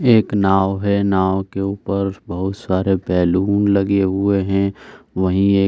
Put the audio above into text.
एक नाव है। नाव के ऊपर बहुत सारे बैलुन लगे हुए हैं। वहीं एक --